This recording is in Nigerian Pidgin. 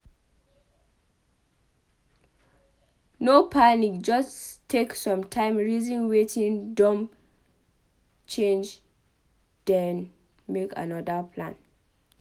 No panic just take some time reason wetin don change then make anoda plan